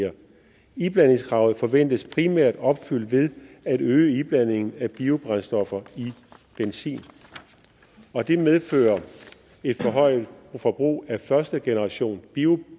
her iblandingskravet forventes primært opfyldt ved at øge iblandingen af biobrændstoffer i benzin det medfører et forhøjet forbrug af førstegenerationsbioætanol